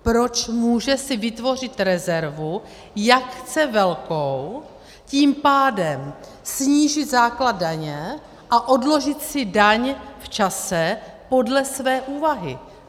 Proč si může vytvořit rezervu, jak chce velkou, tím pádem snížit základ daně a odložit si daň v čase podle své úvahy?